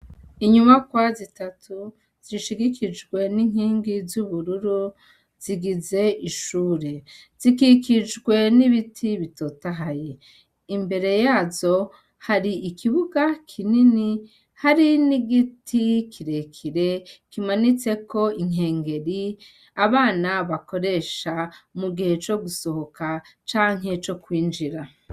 Inyuma kwa zitatu zishigikijwe n'inkingi z'ubururu zigize ishure, zikikijwe n'ibiti bitotahaye imbere yazo hari ikibuga kinini hari ni'igiti kirekire kimanitse ko inkengeri abana bakoresha mu gihe co gusohoka canke co kwinjira.